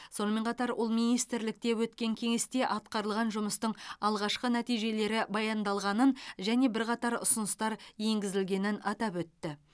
сонымен қатар ол министрлікте өткен кеңесте атқарылған жұмыстың алғашқы нәтижелері баяндалғанын және бірқатар ұсыныстар енгізілгенін атап өтті